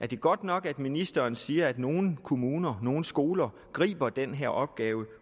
det godt nok at ministeren siger at nogle kommuner nogle skoler griber den her opgave og